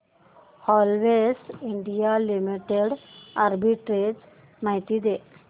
Havells India limited arbitrage माहिती दे